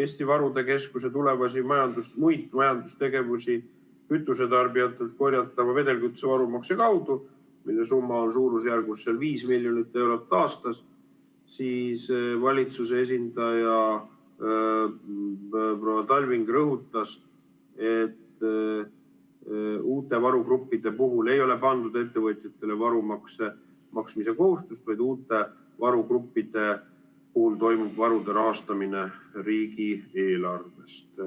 Eesti Varude Keskuse tulevasi muid majandustegevusi kütusetarbijatelt korjatava vedelkütuse varumakse kaudu, mille summa on suurusjärgus 5 miljonit eurot aastas, siis valitsuse esindaja proua Talving rõhutas, et uute varugruppide puhul ei ole pandud ettevõtjatele varumakse maksmise kohustust, vaid uute varugruppide puhul toimub varude rahastamine riigieelarvest.